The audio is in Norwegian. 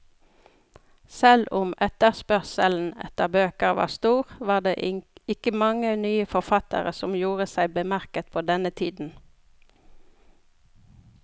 Selv om etterspørselen etter bøker var stor, var det ikke mange nye forfattere som gjorde seg bemerket på denne tiden.